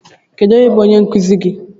Onye bụ onye nkụzi gi?